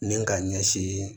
Ni ka ɲɛsin